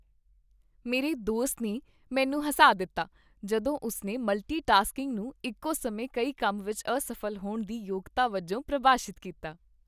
ਮੇਰੇ ਦੋਸਤ ਨੇ ਮੈਨੂੰ ਹਸਾ ਦਿੱਤਾ ਜਦੋਂ ਉਸਨੇ ਮਲਟੀ ਟਾਸਕਿੰਗ ਨੂੰ ਇੱਕੋ ਸਮੇਂ ਕਈ ਕੰਮ ਵਿੱਚ ਅਸਫ਼ਲ ਹੋਣ ਦੀ ਯੋਗਤਾ ਵਜੋਂ ਪਰਿਭਾਸ਼ਿਤ ਕੀਤਾ